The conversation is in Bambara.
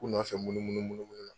U dun b'a fɛ munum munu bolo kelen la.